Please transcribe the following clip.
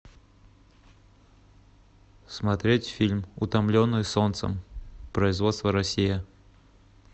смотреть фильм утомленные солнцем производство россия